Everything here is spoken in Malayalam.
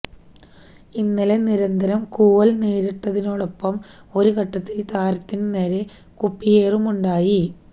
ഇന്നലെ നിരന്തരം കൂവൽ നേരിട്ടതിനൊപ്പം ഒരു ഘട്ടത്തിൽ താരത്തിനു നേരെ കുപ്പിയേറുമുണ്ടായി